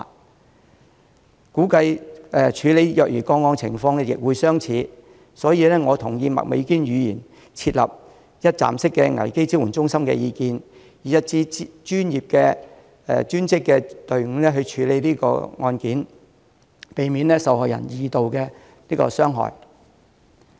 我估計處理虐兒個案的情況亦相似，所以，我同意麥美娟議員提出設立一站式危機支援中心的意見，以一支專業隊伍去處理案件，避免受害人受二次傷害。